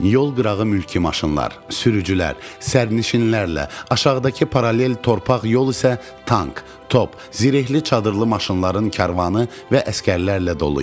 Yol qırağı mülki maşınlar, sürücülər, sərnişinlərlə, aşağıdakı paralel torpaq yol isə tank, top, zirehli çadırlı maşınların karvanı və əsgərlərlə dolu idi.